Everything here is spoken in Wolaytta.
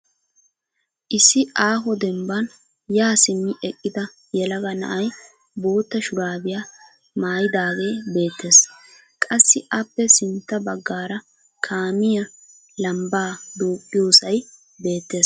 Issi aaho dembban yaa simmi eqqida yelaga na'ay bootta shuraabiya maayidaagee beettes. Qassi aappe sintta baggaara kaamiya lambbaa duuqqiyosay beettes.